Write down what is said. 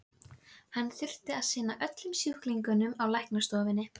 Hún ætlar auðheyrilega ekki að segja of mikið strax.